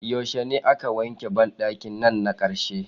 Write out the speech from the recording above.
Yaushe ne ake wanke ban dakin nan karshe?.